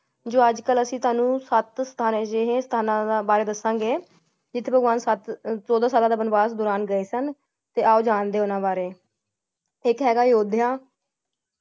ਜੋ ਅੱਜ-ਕਲ ਅਸੀਂ ਤੁਹਾਨੂੰ ਸਤ ਜਿਹੇ ਸਥਾਨ ਬਾਰੇ ਦੱਸਾਂਗੇ ਜਿਥੇ ਭਗਵਾਨ ਸਤ~ ਚੋਦਾ ਸਾਲਾਂ ਦੇ ਵਣਵਾਸ ਦੌਰਾਨ ਗਏ ਸਨ ਤੇ ਆਓ ਜਾਣਦੇ ਹਨ ਉੰਨਾ ਵਾਰੇ ਇਕ ਹੈਗਾ ਅਯੋਧਿਆ ।